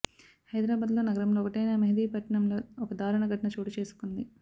హైదరాబాద్లో నగరంలో ఒకటైన మెహిదీపట్నంలో ఒక దారుణ ఘటన చోటుకేసుకుంది